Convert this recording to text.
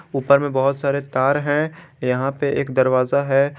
ऊपर में बहोत सारे तार हैं यहां पे एक दरवाजा है।